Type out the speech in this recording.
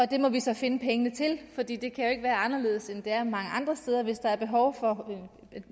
det må vi så finde pengene til for det det kan jo ikke være anderledes end det er mange andre steder hvis der er behov for